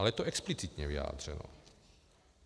Ale je to explicitně vyjádřeno.